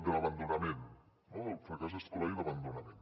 de l’abandonament no del fracàs escolar i l’abandonament